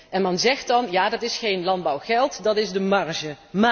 Men zegt dan ja, dat is geen landbouwgeld, dat is de marge.